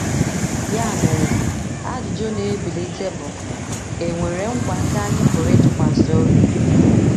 Ya mere ajụjụ na - ebilite bụ: È nwere nkwa ndị anyị pụrụ ịtụkwasị obi?